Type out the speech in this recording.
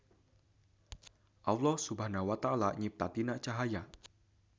Alloh SWT nyipta tina cahaya.